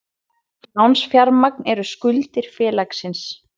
Lánsfjármagn er skuldir félagsins.